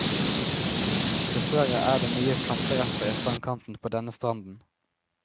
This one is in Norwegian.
Dessverre er det mye planterester i strandkanten på denne stranden.